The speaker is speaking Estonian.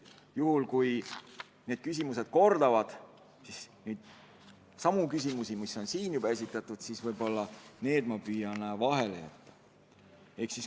Juhul kui need kattuvad küsimustega, mis on siin täna juba esitatud, siis need ma püüan vahele jätta.